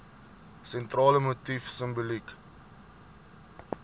sentrale motief simboliek